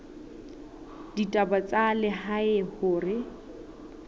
la ditaba tsa lehae hore